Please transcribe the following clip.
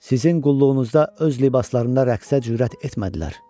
Sizin qulluğunuzda öz libaslarında rəqsə cürət etmədilər.